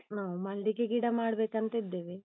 ನಾವ್ ಮಲ್ಲಿಗೆ ಗಿಡ ಮಾಡ್ಬೇಕಂತಿದ್ದೇವೆ.